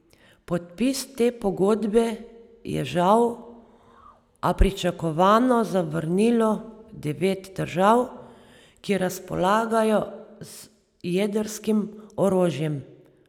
Podpis te pogodbe je žal, a pričakovano, zavrnilo devet držav, ki razpolagajo z jedrskim orožjem.